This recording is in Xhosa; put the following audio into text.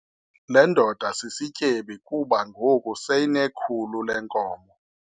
Le ndoda sisityebi kuba ngoku seyinekhulu leenkomo.